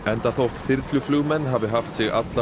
enda þótt þyrluflugmenn hafi haft sig alla